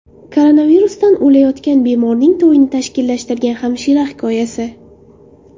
Koronavirusdan o‘layotgan bemorning to‘yini tashkillashtirgan hamshira hikoyasi.